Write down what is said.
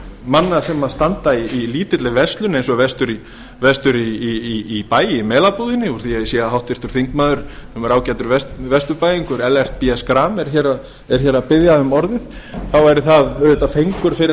manna sem standa í lítilli verslun eins og vestur í bæ í melabúðinni úr því að ég sé að einn þingmaður ágætur vesturbæingur ellert b schram er að biðja um orðið þá væri það auðvitað fengur fyrir